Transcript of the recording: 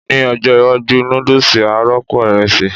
Ní ọjọ́ iwájú, núdùsì á rọ́pò ìrẹsì